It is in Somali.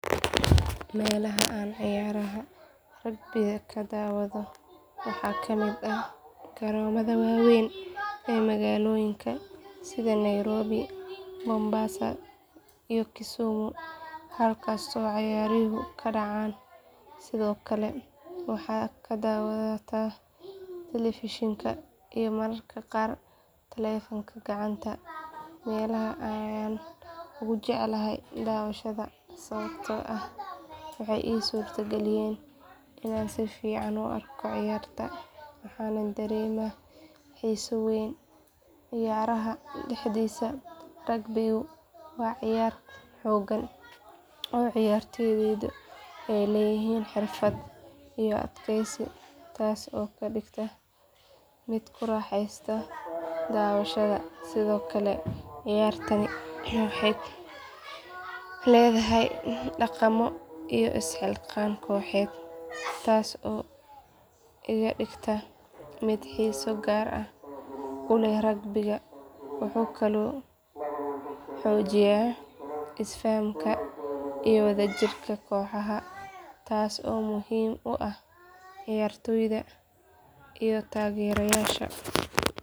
Meelaha aan ciyaaraha rugby-da ka daawado waxaa ka mid ah garoomada waaweyn ee magaalooyinka sida nairobi mombasa iyo kisumu halkaas oo ciyaaruhu ka dhacaan sidoo kale waxaan ka daawadaa telefishinka iyo mararka qaar taleefanka gacanta meelahan ayaan ugu jecelahay daawashada sababtoo ah waxay ii suurageliyaan inaan si fiican u arko ciyaarta waxaanan dareemaa xiiso weyn ciyaaraha dhexdiisa rugby-gu waa ciyaar xoogan oo ciyaartoydu ay leeyihiin xirfad iyo adkaysi taas oo iga dhigta mid ku raaxaysta daawashada sidoo kale ciyaartani waxay leedahay dhaqamo iyo isxilqaan kooxeed taas oo iga dhigta mid xiiso gaar ah u leh rugby-gu wuxuu kaloo xoojiyaa isfahamka iyo wadajirka kooxaha taas oo muhiim u ah ciyaartooyda iyo taageerayaasha.